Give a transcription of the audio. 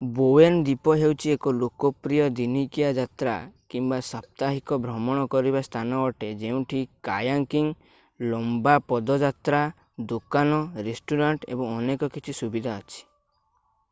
Bowen ଦ୍ୱୀପ ହେଉଛି ଏକ ଲୋକପ୍ରିୟ ଦିନିକିଆ ଯାତ୍ରା କିମ୍ବା ସାପ୍ତାହିକ ଭ୍ରମଣ କରିବା ସ୍ଥାନ ଅଟେ ଯେଉଁଠି କାୟାକିଂ ଲମ୍ବା ପଦଯାତ୍ରା ଦୋକାନ ରେଷ୍ଟୁରାଣ୍ଟ ଏବଂ ଅନେକ କିଛି ସୁବିଧା ଅଛି